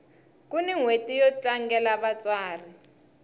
kuni nhweti yo tlangela vatsari